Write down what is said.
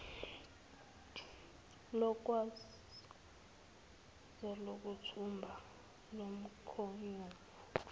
lokwesabisa lokuthumba lomkhonyovu